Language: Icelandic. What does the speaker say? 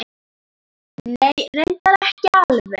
Nei. reyndar ekki alveg.